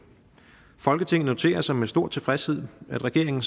folketinget noterer sig med stor tilfredshed at regeringen